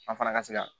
An fana ka se ka